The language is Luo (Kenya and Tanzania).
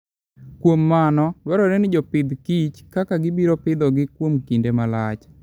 Kuom mano, dwarore ni jopith kich kaka gibiro pidhogi kuom kinde malach.